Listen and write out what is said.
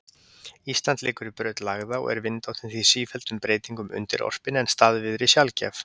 Ísland liggur í braut lægða og er vindáttin því sífelldum breytingum undirorpin en staðviðri sjaldgæf.